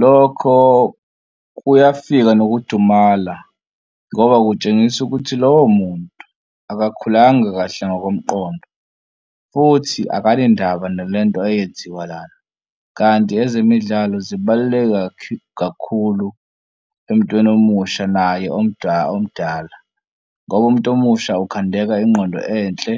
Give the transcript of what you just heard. Lokho kuyafika nokudumala ngoba kutshengisa ukuthi lowo muntu akakhulanga kahle ngokomqondo, futhi akanendaba nale nto eyenziwa lana. Kanti ezemidlalo zibaluleke kakhulu emtweni omusha naye omdala ngoba umuntu omusha ukukhandeka ingqondo enhle